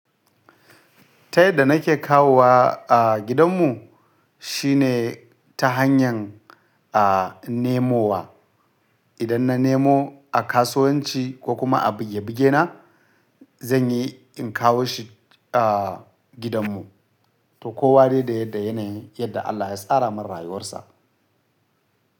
Ta yadda nake kawowa a gidanmu shine ta hanyar a nemowa. Idan na nemo a kasuwanci ko kuma a buge buge na, zan yi in kawo shi a gidanmu. To kowa dai da yadda yanayin, yadda Allah ya tsara mai rayuwar sa.